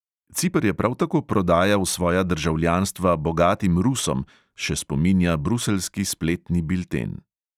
Ciper je prav tako prodajal svoja državljanstva bogatim rusom, še spominja bruseljski spletni bilten.